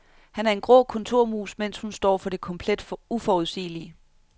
Han er en grå kontormus, mens hun står for det komplet uforudsigelige.